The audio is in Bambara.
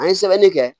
An ye sɛbɛnni kɛ